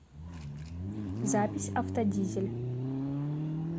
запись автодизель